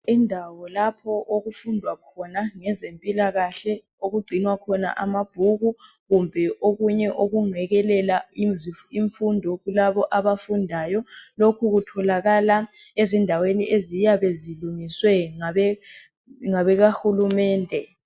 Kulapho okufundwa khona ngezempilakahle okugcinwa khona amabhuku kumbe okunye okungekelela imfundo kulabo abafundayo lokhu kutholakala ezindaweni eziyabe zilungiswe ngabeakahulumende.